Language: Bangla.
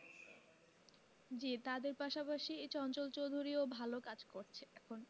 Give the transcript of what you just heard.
জি তাদের পাশাপাশি এই চঞ্চল চৌধুরী ও ভালো কাজ করছে এখন।